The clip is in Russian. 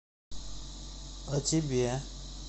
а тебе